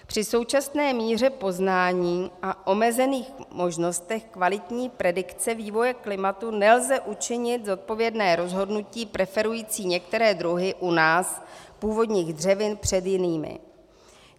Při současné míře poznání a omezených možnostech kvalitní predikce vývoje klimatu nelze učinit zodpovědné rozhodnutí preferující některé druhy u nás původních dřevin před jinými.